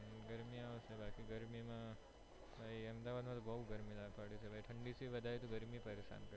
હમ ગરમી આવે બાકી ગરમી માં તો અહમદાબાદ માં બો ગરમી ઠંડી થી વધારે ગરમી થી પરેશાન પરેશાન કરે